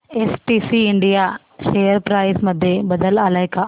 STC India share price मध्ये बदल आलाय का